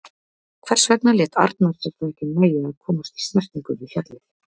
Hvers vegna lét Arnar sér það ekki nægja að komast í snertingu við fjallið?